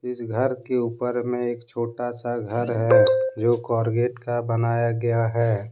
इस घर के ऊपर में एक छोटा सा घर है जो कोरगेट का बनाया गया है।